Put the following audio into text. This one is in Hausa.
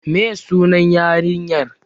Me ye sunan yarinyar?